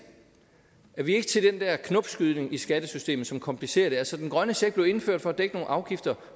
at vi ikke er til den der knopskydning i skattesystemet som komplicerer det altså den grønne check blev indført for at dække nogle afgifter